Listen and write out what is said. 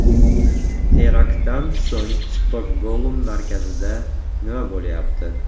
Teraktdan so‘ng Stokgolm markazida nima bo‘lyapti?.